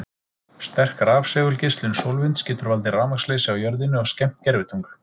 Sterk rafsegulgeislun sólvinds getur valdið rafmagnsleysi á jörðinni og skemmt gervitungl.